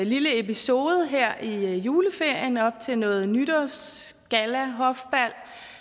lille episode her i juleferien op til noget nytårsgallahofbal